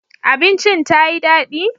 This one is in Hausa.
Abincin ta yi dadi?